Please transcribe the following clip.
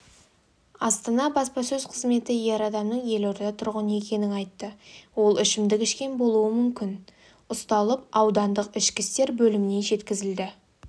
астана баспасөз қызметі ер адамның елорда тұрғыны екенін айтты ол ішімдік ішкен болуы мүмкін ұсталып аудандық ішкі істер бөліміне жеткізілді